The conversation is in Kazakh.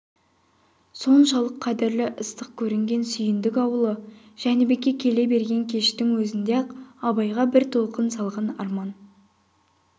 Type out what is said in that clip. соншалық қадірлі ыстық көрінген сүйіндік аулы жәнібекке келе берген кештің өзінде-ақ абайға бір толқын салған арман